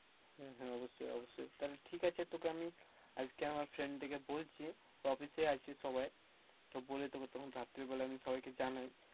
হ্যাঁ, হ্যাঁ অবশ্যই অবশ্যই তাহলে ঠিক আছে, তোকে আমি আজকে আমা friend দিকে বলছি office এই আছি সবাই, তো বলে তোকে তখন রাত্রেবেলা আমি সবাইকে জানাই।